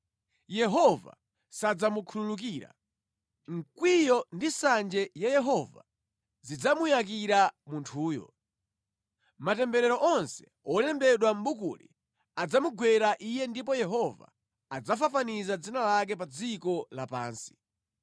Yehova sadzamukhululukira. Mkwiyo ndi nsanje ya Yehova zidzamuyakira munthuyo. Matemberero onse wolembedwa mʼbukuli adzamugwera iye ndipo Yehova adzafafaniza dzina lake pa dziko lapansi.